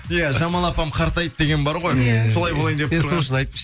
иә жамал апам қартайды деген бар ғой иә